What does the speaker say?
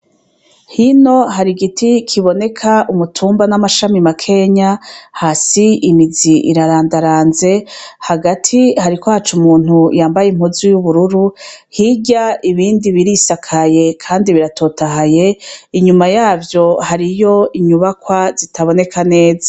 Hino hari igiti kiboneka umutumba n'amashami makenya, hasi imizi irarandaranze, hagati hariko haca umuntu yambaye impuzu y'ubururu, hirya ibindi birisakaye kandi biratotahaye, inyuma yavyo hariyo inyubakwa zitaboneka neza.